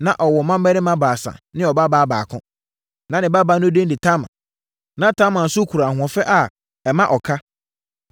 Na ɔwɔ mmammarima baasa ne ɔbabaa baako. Na ne babaa no din de Tamar. Na Tamar nso kura ahoɔfɛ a ɛmma ɔka.